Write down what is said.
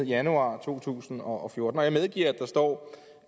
januar to tusind og fjorten og jeg medgiver at der står